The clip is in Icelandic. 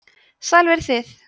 sæl verið þið